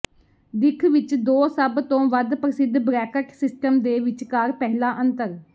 ਦਿੱਖ ਵਿੱਚ ਦੋ ਸਭ ਤੋਂ ਵੱਧ ਪ੍ਰਸਿੱਧ ਬਰੈਕਟ ਸਿਸਟਮ ਦੇ ਵਿਚਕਾਰ ਪਹਿਲਾ ਅੰਤਰ